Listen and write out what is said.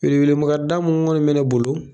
Wele wele ma ga da mun kɔni be ne bolo